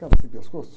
Cara sem pescoço.